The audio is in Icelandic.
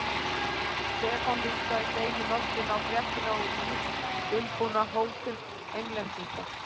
Stefán hlustaði steini lostinn á fréttina og lítt dulbúna hótun Englendinga.